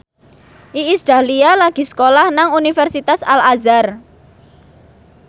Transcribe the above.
Iis Dahlia lagi sekolah nang Universitas Al Azhar